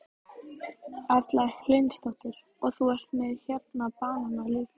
Erla Hlynsdóttir: Og þú ert með hérna banana líka?